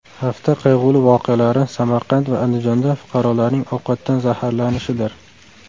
Hafta qayg‘uli voqealari Samarqand va Andijonda fuqarolarning ovqatdan zaharlanishidir.